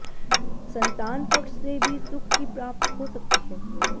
संतान पक्ष से भी सुख की प्राप्त हो सकती है